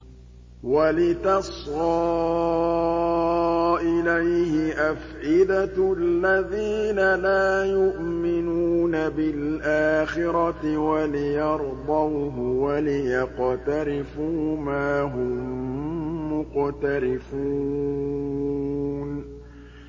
وَلِتَصْغَىٰ إِلَيْهِ أَفْئِدَةُ الَّذِينَ لَا يُؤْمِنُونَ بِالْآخِرَةِ وَلِيَرْضَوْهُ وَلِيَقْتَرِفُوا مَا هُم مُّقْتَرِفُونَ